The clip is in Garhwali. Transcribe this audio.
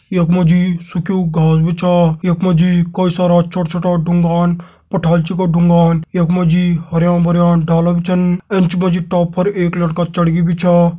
यख मा जी सुख्यूं घास भी छ यख मा जी कई सारा छोटा छोटा ड़ुंगान पठाली क छ ड़ुंगान यख मा जी हरयां - भरयां ड़ाला भी छन एंच मा जी टॉप पर एक लड़का चढ़गी भी छा।